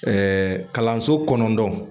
kalanso kɔnɔndɔn